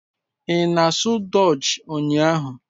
Ị na-asụ Dutch ụnyahụ?